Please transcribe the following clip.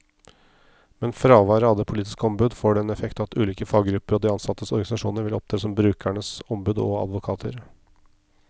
Men fravær av det politiske ombud får den effekt at ulike faggrupper og de ansattes organisasjoner vil opptre som brukernes ombud og advokater.